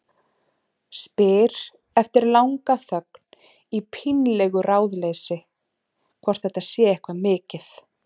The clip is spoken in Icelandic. Spyr eftir langa þögn í pínlegu ráðleysi hvort þetta sé eitthvað mikið.